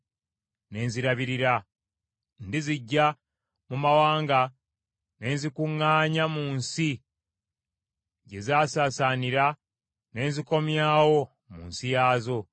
Ng’omusumba bw’alabirira ekisibo kye ng’ezimu ku ndiga zisaasaanye okumuvaako, bwe ntyo bwe ndizirabirira. Ndiziggya mu bifo byonna gye zaasaasaanira ku lunaku olw’ebire olw’ekizikiza.